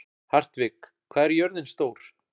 Hartvig, hvað er jörðin stór?